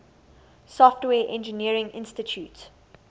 software engineering institute